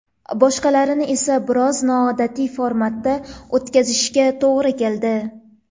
Boshqalarini esa biroz noodatiy formatda o‘tkazishga to‘g‘ri keldi.